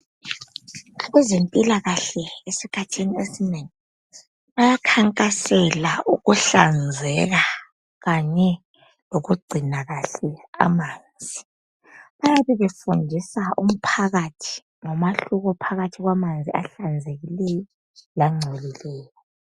Kwezempilakahle esikhathini esinengi bayakhankasela ukuhlanzeka kanye lokugcina kahle amanzi .Bayabe befundisa umphakathi ngomehluko phakathi kwamanzi ahlanzekileyo langcolileyo.